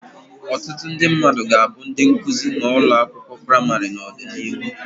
Ọtụtụ ndị mmadụ ga-abụ ndị nkuzi na ụlọ akwụkwọ praịmarị n'ọdịnihu.